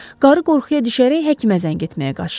Qarı qorxuya düşərək həkimə zəng etməyə qaçdı.